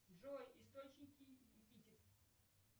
джой источники эпитет